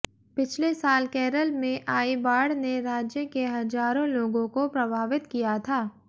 पिछले साल केरल मे आई बाढ़ ने राज्य के हजारों लोगों को प्रभावित किया था